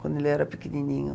Quando ele era pequenininho.